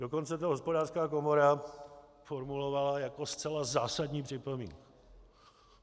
Dokonce to Hospodářská komora formulovala jako zcela zásadní připomínku.